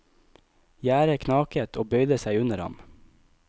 Gjerdet knaket og bøyde seg under ham.